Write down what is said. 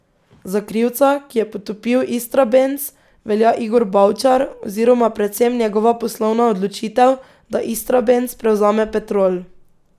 Za krivca, ki je potopil Istrabenz, velja Igor Bavčar oziroma predvsem njegova poslovna odločitev, da Istrabenz prevzame Petrol.